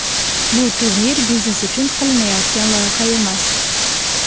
Bu turnir biznes uchun qilinayotgan loyiha emas.